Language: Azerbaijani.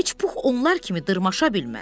Heç pux onlar kimi dırmaşa bilməz.